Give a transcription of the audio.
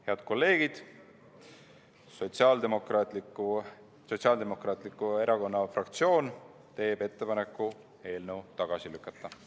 Head kolleegid, Sotsiaaldemokraatliku Erakonna fraktsioon teeb ettepaneku eelnõu tagasi lükata.